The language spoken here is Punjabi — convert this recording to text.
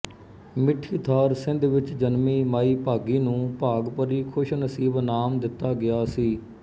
ਮਿਠੀ ਥਾਰ ਸਿੰਧ ਵਿੱਚ ਜਨਮੀ ਮਾਈ ਭਾਗੀ ਨੂੰ ਭਾਗ ਭਰੀ ਖ਼ੁਸ਼ਨਸੀਬ ਨਾਮ ਦਿੱਤਾ ਗਿਆ ਸੀ